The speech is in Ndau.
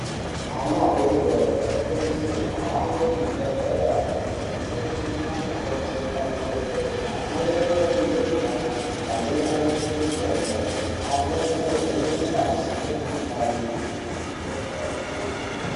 Ana adoridori anokurudzirwe kuhambe kuzvibhedhlera kundovhenekwa nana mukoti nemadhogodheya, amweni opihwe mutombo, amweni omwiswe mutombo, amweni ovhenekwe ngazi ngemukuhlani.